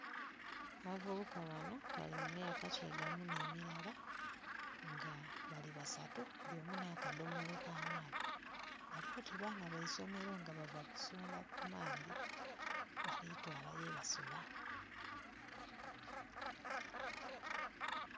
Abavubuka bano bali mu myaka kyegamu ne mirala nga bali basatu buli omu na kadomola ka maadhi bali oti baana baisomero nga bava kusundha ku maadhi, bali twala ye basula.